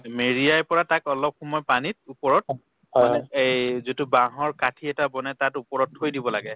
মেৰিয়াই পেলাই তাক অলপ সময় পানীত ওপৰত মানে এই যোনতো বাহৰ কাঠি এটা বনাই তাত ওপৰত থৈ দিব লাগে